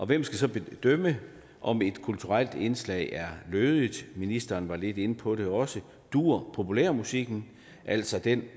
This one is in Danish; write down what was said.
hvem skal så bedømme om et kulturelt indslag er lødigt ministeren var lidt inde på det også duer populærmusikken altså den